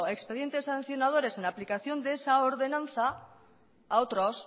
expedientes sancionadores en aplicación de esa ordenanza a otros